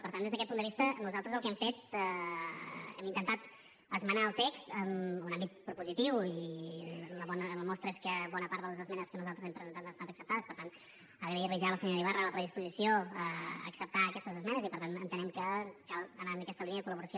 per tant des d’aquest punt de vista nosaltres el que hem fet hem intentat esmenar el text en un àmbit propositiu i la mostra és que bona part de les esmenes que nosaltres hem presentat han estat acceptades per tant agrair li ja a la senyora ibarra la predisposició a acceptar aquestes esmenes i per tant entenem que cal anar en aquesta línia de col·laboració